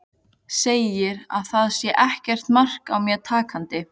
Segir að það sé ekkert mark á mér takandi.